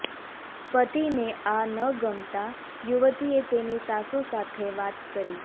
પતિને આ ન ગમતા યુવતીએ તેની સાસુ સાથે વાત કરી